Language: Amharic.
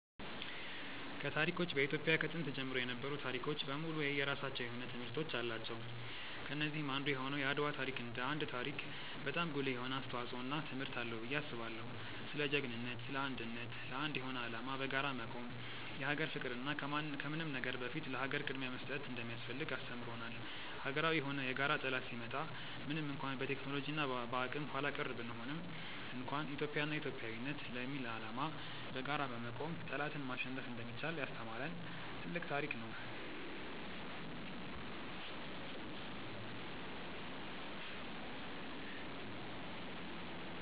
ከታሪኮች በኢትዮጵያ ከጥንት ጀምሮ የነበሩ ታሪኮች በሙሉ የየራሳቸው የሆነ ትምህርቶች አላቸው። ከነዚህም አንዱ የሆነው የአድዋ ታሪክ እንደ ታሪክ በጣም ጉልህ የሆነ አስተዋጽዖ እና ትምህርት አለው ብዬ አስባለው። ስለ ጅግንነት እና ስለ አንድነት፣ ለአንድ የሆነ አላማ በጋራ መቆም፣ የሀገር ፍቅር እና ከምንም ነገር በፊት ለሀገር ቅድምያ መስጠት እንደሚያስፈልግ አስተምሮናል። ሀገራዊ የሆነ የጋራ ጠላት ሲመጣ ምንም እንኳን በቴክኖሎጂ እና በአቅም ኃላቀር ብንሆንም እንኳን ኢትዮጵያ እና ኢትዮጵያዊነት ለሚል አላማ በጋራ በመቆም ጠላትን ማሸነፍ እንደሚቻል ያስተማሪን ትልቅ ታሪክ ነው።